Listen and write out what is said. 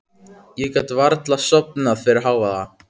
Ég gat varla sofnað fyrir hávaða.